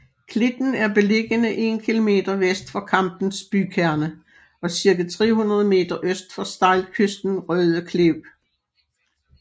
Klitten er beliggende 1 kilomter vest for Kampens bykerne og cirka 300 meter øst for stejlkysten Røde Klev